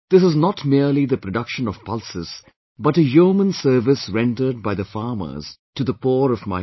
This is not merely the production of pulses but a yeoman service rendered by the farmers to the poor of my country